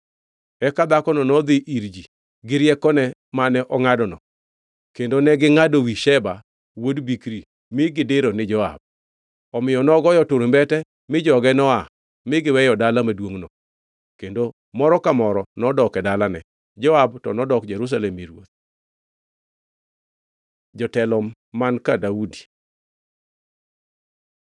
Eka dhakono nodhi ir ji gi riekone mane ongʼadono, kendo negingʼado wi Sheba wuod Bikri mi gidiro ni Joab. Omiyo nogoyo turumbete, mi joge no-aa mi giweyo dala maduongʼno kendo moro ka moro nodok e dalane. Joab to nodok Jerusalem ir ruoth. Jotelo man ka Daudi